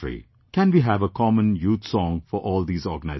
Can we have a common youth song for all these organizations